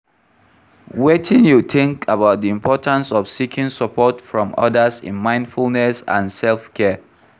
Wetin you think about di importance of seeking support from odas in mindfulness and self-care?